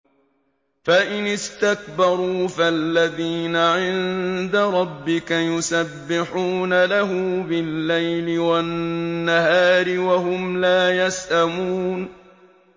فَإِنِ اسْتَكْبَرُوا فَالَّذِينَ عِندَ رَبِّكَ يُسَبِّحُونَ لَهُ بِاللَّيْلِ وَالنَّهَارِ وَهُمْ لَا يَسْأَمُونَ ۩